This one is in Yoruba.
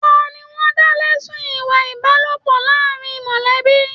Tani wọn dá lẹ̀sun ìwà ìbálòpọ̀ láàrín mọlẹbi?